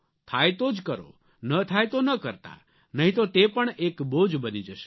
થાય તો જ કરો ન થાય તો ન કરતા નહીં તો તે પણ એક બોજ બની જશે